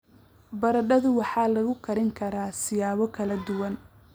Baradhadu waxay lagu kari karaa siyaabo kala duwan.